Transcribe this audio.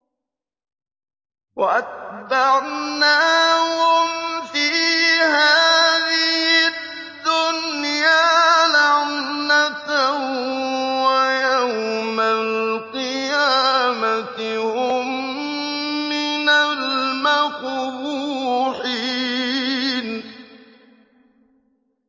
وَأَتْبَعْنَاهُمْ فِي هَٰذِهِ الدُّنْيَا لَعْنَةً ۖ وَيَوْمَ الْقِيَامَةِ هُم مِّنَ الْمَقْبُوحِينَ